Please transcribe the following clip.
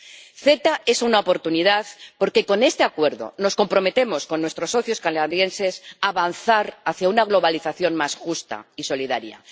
El CETA es una oportunidad, porque con este Acuerdo nos comprometemos con nuestros socios canadienses a avanzar hacia una globalización más justa y solidaria.